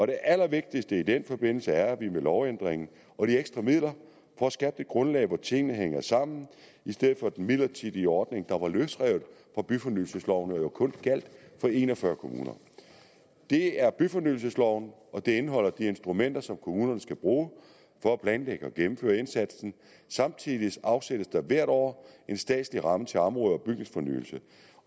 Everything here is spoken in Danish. det allervigtigste i den forbindelse er at vi med lovændringen og de ekstra midler får skabt et grundlag for at tingene hænger sammen i stedet for at have den midlertidige ordning der var løsrevet fra byfornyelsesloven og jo kun gjaldt for en og fyrre kommuner det er byfornyelsesloven og den indeholder de instrumenter som kommunerne skal bruge for at planlægge og gennemføre indsatsen samtidig afsættes der hvert år en statslig ramme til område og bygningsfornyelse